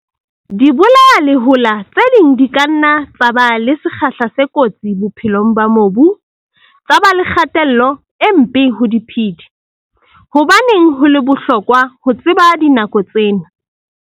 Dibolayalehola tse ding di ka nna tsa ba le sekgahla se kotsi bophelong ba mobu, tsa ba le kgatello e mpe ho diphedi. Hobaneng ho le bohlokwa ho tseba dinako tsena?